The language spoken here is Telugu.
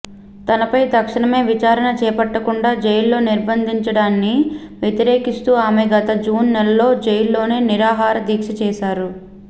తనపై తక్షణమే విచారణ చేపట్టకుండా జైల్లో నిర్బంధించడాన్ని వ్యతిరేకిస్తూ ఆమె గత జూన్ నెలలో జైల్లోనే నిరాహార దీక్ష చేశారు